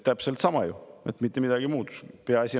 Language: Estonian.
Täpselt sama ju, mitte midagi muud!